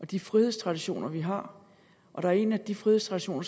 de frihedstraditioner vi har der er en af de frihedstraditioner